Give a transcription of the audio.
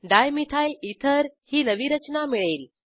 dimethyl ether ही नवी रचना मिळेल